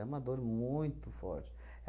uma dor muito forte.